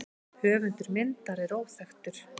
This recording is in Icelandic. Höfundur myndar er óþekktur.